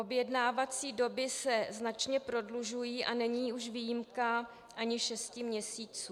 Objednací doby se značně prodlužují a není už výjimka ani šest měsíců.